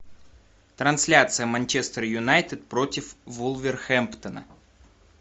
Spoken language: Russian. трансляция манчестер юнайтед против вулверхэмптона